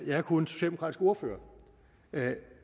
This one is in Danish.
jeg er kun socialdemokratisk ordfører